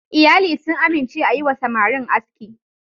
Iyali sun amince a yi wa samarin aski.